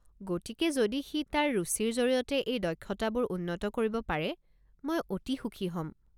গতিকে যদি সি তাৰ ৰুচিৰ জৰিয়তে এই দক্ষতাবোৰ উন্নত কৰিব পাৰে, মই অতি সুখী হ'ম।